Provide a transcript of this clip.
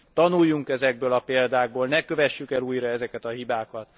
Tanuljunk ezekből a példákból, ne kövessük el újra ezeket a hibákat.